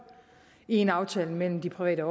i en aftale med de private